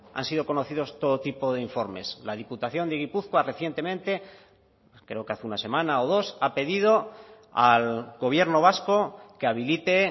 han sido conocidos todo tipo de informes la diputación de gipuzkoa recientemente creo que hace una semana o dos ha pedido al gobierno vasco que habilite